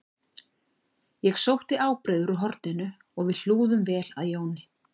Ég sótti ábreiður úr horninu og við hlúðum vel að Jóni